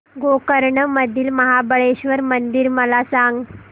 गोकर्ण मधील महाबलेश्वर मंदिर मला सांग